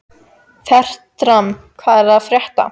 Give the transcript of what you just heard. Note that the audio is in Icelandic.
Fertram, hvað er að frétta?